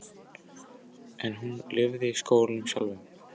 En hún lifði í skólanum sjálfum.